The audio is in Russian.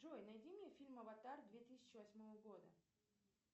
джой найди мне фильм аватар две тысячи восьмого года